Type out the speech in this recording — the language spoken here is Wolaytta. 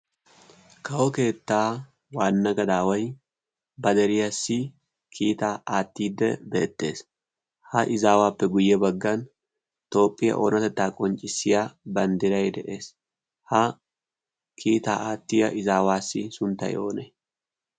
kawo keettaa waanna gadaawai ba deriyaassi kiitaa aattiidde beettees. ha izaawaappe guyye baggan toophphiyaa oonatettaa qonccissiya banddirai de.ees ha kiitaa aattiya izaawaassi sunttay oonee?